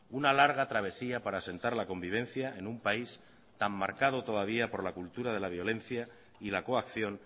una larga travesía para asentar la convivencia en un país tan marcado todavía por la cultura de la violencia y la coacción